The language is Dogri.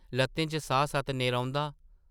‘‘लʼत्तें च साह्-सत नेईं रौंह्दा ।’’